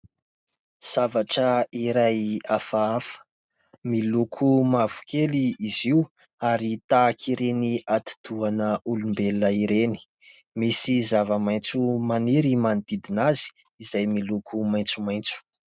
Zavatra iray hafahafa, miloko mavokely izy io ary tahaka ireny atidohan'olombelona ireny ; misy zava-maitso maniry manodidina azy ; izay miloko maitsomaitso.